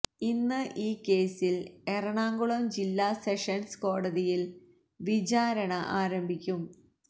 ഇന്ന് ഈ കേസില് എറണാകുളം ജില്ലാ സെഷന്സ് കോടതിയില് വിചാരണ ആരംഭിക്കും